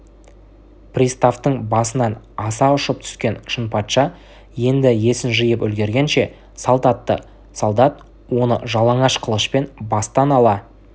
приставтың басынан аса ұшып түскен шынпатша енді есін жиып үлгергенше салт атты солдат оны жалаңаш қылышпен бастан ала